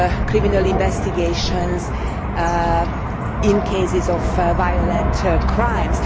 criminal investigations, in cases of violent crimes.